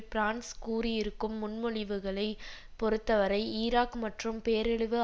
France கூறியிருக்கும் முன்மொழிவுகளைப் பொருத்தவரை ஈராக் மற்றும் பேரழிவு